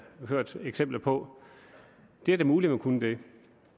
hørt eksempler på det er da muligt at man kunne det